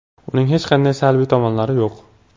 Uning hech qanday salbiy tomonlari yo‘q.